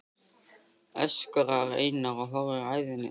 öskrar Einar og horfir æðisgenginn til